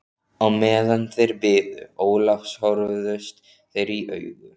Á meðan þeir biðu Ólafs horfðust þeir í augu.